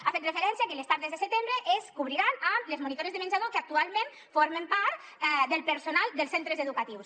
ha fet referència a que les tardes de setembre es cobriran amb les monitores de menjador que actualment formen part del personal dels centres educatius